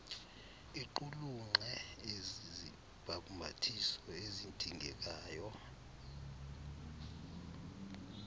iqulunqe izibhambathiso ezidingekayo